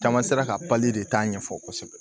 Caman sera ka de taa ɲɛfɔ kosɛbɛ